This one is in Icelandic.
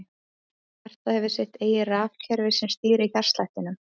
Hjartað hefur sitt eigið rafkerfi sem stýrir hjartslættinum.